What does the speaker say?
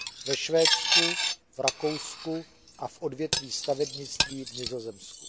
ve Švédsku, v Rakousku a v odvětví stavebnictví v Nizozemsku.